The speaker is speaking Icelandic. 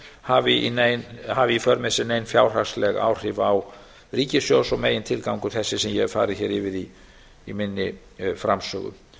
hafi í för með sér nein fjárhagsleg áhrif á ríkissjóð og megintilgangur þessi sem ég hef farið hér yfir í minni framsögu